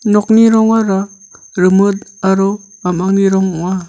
nokni rongara rimit aro a·mangni rong ong·a.